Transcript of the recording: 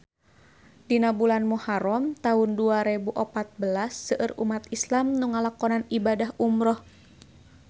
Dina bulan Muharam taun dua rebu opat belas seueur umat islam nu ngalakonan ibadah umrah